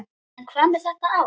En hvað með þetta ár?